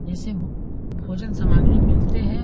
जैसे भो भोजन समाज मे मिलते है ।